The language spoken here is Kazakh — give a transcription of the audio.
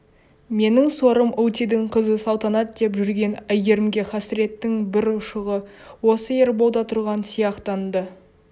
менің сорым ылдидың қызы салтанат деп жүрген әйгерімге хасіреттің бір ұшығы осы ерболда тұрған сияқтанды